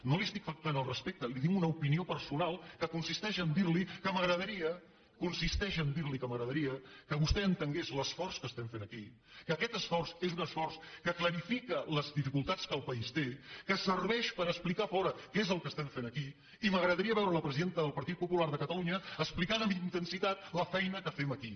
no li estic faltant el respecte li dono una opinió personal que consisteix a dir li que m’agradaria que vostè entengués l’esforç que estem fent aquí que aquest esforç és un esforç que clarifica les dificultats que el país té que serveix per explicar a fora què és el que estem fent aquí i m’agradaria veure la presidenta del partit popular de catalunya explicant amb intensitat la feina que fem aquí